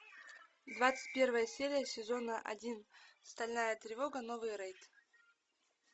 двадцать первая серия сезона один стальная тревога новый рейд